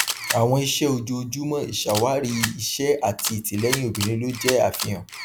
àwọn iṣẹ ojoojúmọ ìṣàwárí iṣẹ àti ìtìlẹyìn obìnrin ló jẹ àfihàn